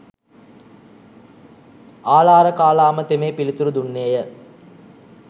ආළාරකාලාම තෙමේ පිළිතුරු දුන්නේ ය.